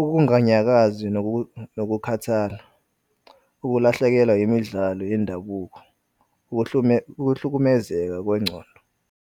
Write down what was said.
ukunganyakazi nokukhathala, ukulahlekelwa imidlalo yendabuko, ukuhlukumezeka kwengcondo.